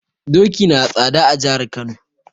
Doki nada tsada a jihar Kano.